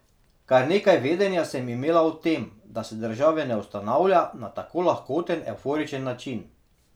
Kar nekaj vedenja sem imela o tem, da se države ne ustanavlja na tak lahkoten, evforičen način.